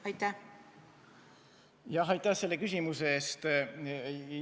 Aitäh selle küsimuse eest!